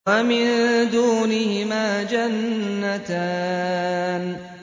وَمِن دُونِهِمَا جَنَّتَانِ